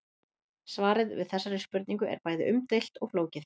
Svarið við þessari spurningu er bæði umdeilt og flókið.